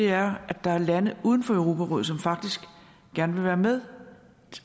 er at der er lande uden for europarådet som faktisk gerne vil være med